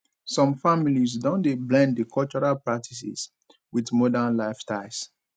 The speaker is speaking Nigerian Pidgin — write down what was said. some families don dey blend di cultural practices wit modern lifestyles